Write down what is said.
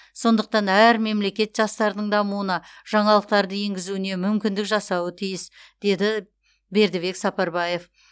сондықтан әр мемлекет жастардың дамуына жаңалықтарды енгізуіне мүмкіндік жасауы тиіс деді бердібек сапарбаев